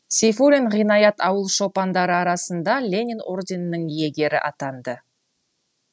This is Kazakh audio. сейфуллин ғинаят ауыл шопандары арасында ленин орденінің иегері атанды